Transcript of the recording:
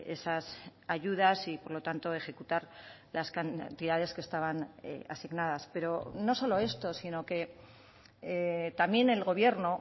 esas ayudas y por lo tanto ejecutar las cantidades que estaban asignadas pero no solo esto sino que también el gobierno